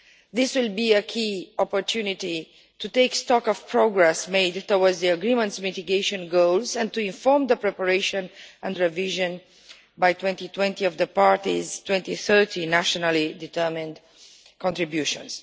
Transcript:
This will be a key opportunity to take stock of progress made towards the agreement's mitigation goals and to inform the preparation and revision, by 2020, of the parties' 2030 nationally determined contributions.